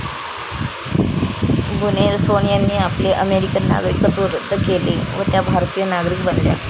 बुनेर्सोन यांनी आपले अमेरिकन नागरिकत्व रद्द केले व त्या भारतिय नागरिक बनल्या.